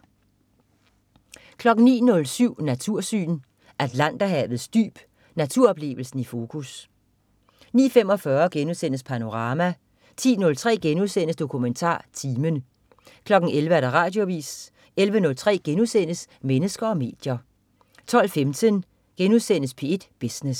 09.07 Natursyn. Atlanterhavets dyb. Naturoplevelsen i fokus 09.45 Panorama* 10.03 DokumentarTimen* 11.00 Radioavis 11.03 Mennesker og medier* 12.15 P1 Business*